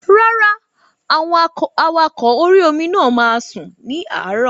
Rárá, àwọn awakọ̀ orí-omi náà máa sùn ní àárọ̀